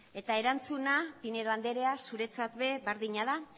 eta erantzuna pinedo andrea zuretzat ere berdina da